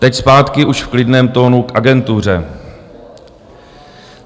Teď zpátky už v klidném tónu k agentuře.